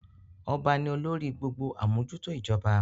Ọba ni olórí gbogbo amojuto ijoba.